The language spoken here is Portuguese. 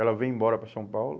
Ela veio embora para São Paulo.